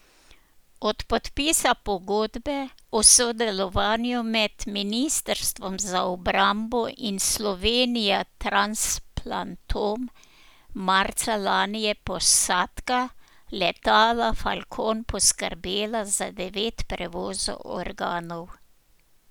Od podpisa pogodbe o sodelovanju med ministrstvom za obrambo in Slovenija Transplantom marca lani je posadka letala falcon poskrbela za devet prevozov organov.